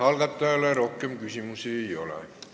Algatajale rohkem küsimusi ei ole.